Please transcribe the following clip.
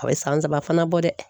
A bɛ san saba fana bɔ dɛ.